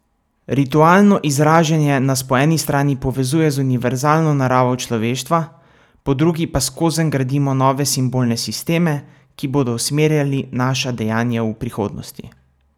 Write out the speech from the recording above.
Ritualno izražanje nas po eni strani povezuje z univerzalno naravo človeštva, po drugi pa skozenj gradimo nove simbolne sisteme, ki bodo usmerjali naša dejanja v prihodnosti.